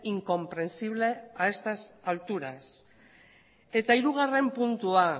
incomprensible a estas alturas eta hirugarren puntua